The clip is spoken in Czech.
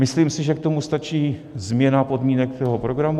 Myslím si, že k tomu stačí změna podmínek toho programu.